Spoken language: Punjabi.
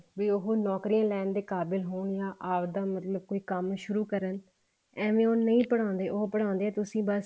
ਵੀ ਉਹ ਨੋਕਰੀਆਂ ਲੈਣ ਦੇ ਕਾਬਿਲ ਹੋਣ ਨਾ ਆਪਦਾ ਮਤਲਬ ਕੋਈ ਕੰਮ ਸ਼ੁਰੂ ਕਰਨ ਏਵੇਂ ਉਹ ਨਹੀਂ ਪੜਾਉਂਦੇ ਉਹ ਪੜਾਉਂਦੇ ਆ ਤੁਸੀਂ ਬੱਸ